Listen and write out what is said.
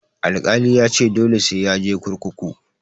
Alkali yace dole sai yaje kurkuku.